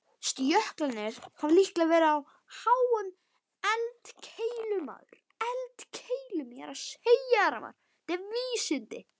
Jöklarnir hafa líklega verið á háum eldkeilum.